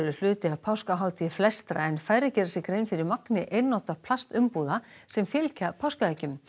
hluti af páskahátíð flestra en færri gera sér grein fyrir magni einnota plastumbúða sem fylgja páskaeggjum